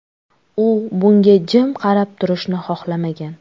U bunga jim qarab turishni xohlamagan.